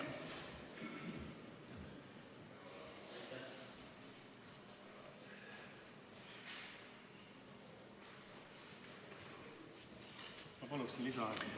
Ma palun lisaaega ka!